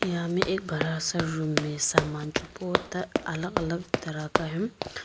यहां में एक बड़ा सा रूम में समान जो बहुत अलग अलग तरह का है।